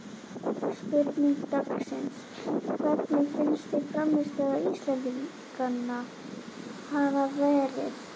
Spurning dagsins: Hvernig finnst þér frammistaða Íslendinganna hafa verið?